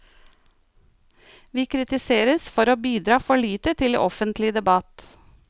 Vi kritiseres for å bidra for lite til offentlig debatt.